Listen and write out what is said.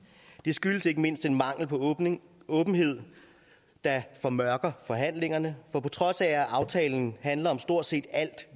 skyldes ikke mindst den mangel på åbenhed der formørker forhandlingerne for på trods af at aftalen handler om stort set alt